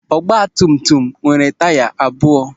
Ọtụtụ ọgbatumtum nwere taya abụọ.